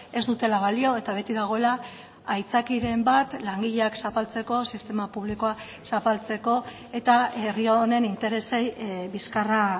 ez dutela balio eta beti dagoela aitzakiaren bat langileak zapaltzeko sistema publikoa zapaltzeko eta herri honen interesei bizkarra